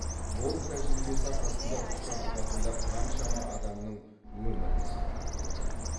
мол тәжірибесі арқасында ұшақ апатында қаншама адамның өмірін сақтап қалды